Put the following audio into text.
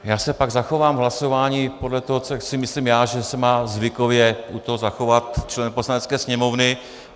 Já se pak zachovám v hlasování podle toho, co si myslím já, že se má zvykově u toho zachovat, členové Poslanecké sněmovny.